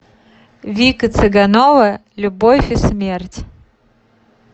вика цыганова любовь и смерть